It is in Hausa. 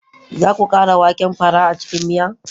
Za ku ƙara waken fara a cikin miya?